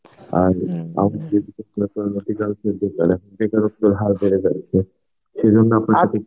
বেকারত্বের হার বেড়ে যাচ্ছে. সেজন্য আপনাকে